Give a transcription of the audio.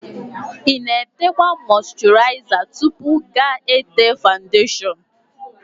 Ịna-etekwa mọsturiza tupu ga-ete fawundeshon?